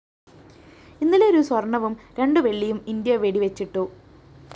ഇന്നലെ ഒരു സ്വര്‍ണവും രണ്ടു വെള്ളിയും ഇന്ത്യ വെടിവെച്ചിട്ടു